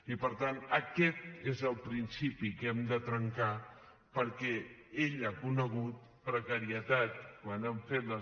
i per tant aquest és el principi que hem de trencar perquè ell ha conegut precarietat quan han fet les